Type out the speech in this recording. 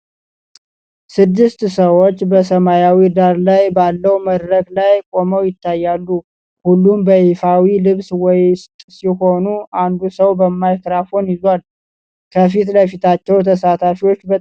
ስድስት ሰዎች በሰማያዊ ዳራ ላይ ባለው መድረክ ላይ ቆመው ይታያሉ። ሁሉም በይፋዊ ልብስ ውስጥ ሲሆኑ፣ አንዱ ሰው ማይክሮፎን ይዟል። ከፊት ለፊታቸው ተሳታፊዎች በጠረጴዛ ዙሪያ ተቀምጠዋል።